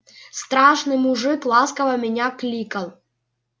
страшный мужик ласково меня кликал